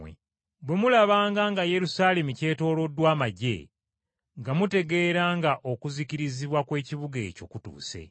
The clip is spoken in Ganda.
“Bwe mulabanga nga Yerusaalemi kyetooloddwa amaggye, nga mutegeera nga Okuzikirizibwa kw’ekibuga ekyo kutuuse.